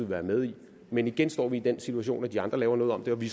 være med i det men igen står vi i den situation at når de andre laver noget om siger vi